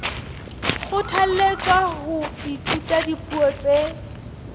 kgothalletswa ho ithuta dipuo tse